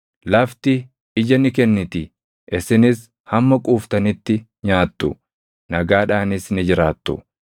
Lafti ija ni kenniti; isinis hamma quuftanitti nyaattu; nagaadhaanis ni jiraattu.